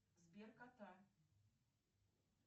сберкота